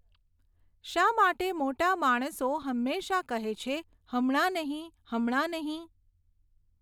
શા માટે મોટા માણસો હમેશા કહે છે, હમણાં નહીં, હમણાં નહીં?